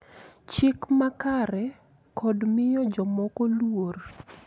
Chik makare, kod miyo jomoko luor.